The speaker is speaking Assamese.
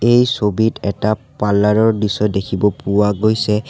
এই ছবিত এটা পাৰ্লাৰ ৰ দৃশ্য দেখিব পোৱা গৈছে।